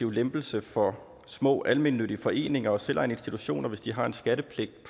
lempelse for små almennyttige foreninger og selvejende institutioner hvis de har en skattepligtig